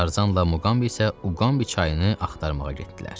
Tarzanla Muqamb isə Uqambi çayını axtarmağa getdilər.